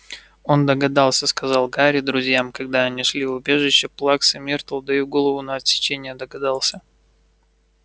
он догадался сказал гарри друзьям когда они шли в убежище плаксы миртл даю голову на отсечение догадался